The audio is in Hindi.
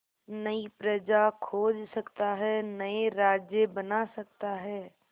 नई प्रजा खोज सकता है नए राज्य बना सकता है